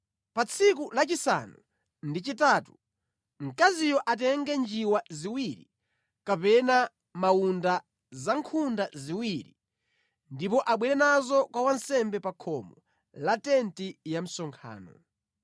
Pa tsiku lachisanu ndi chitatu, mkaziyo atenge njiwa ziwiri kapena mawunda awiri, ndipo abwere nazo kwa wansembe pa khomo la Tenti ya Msonkhano.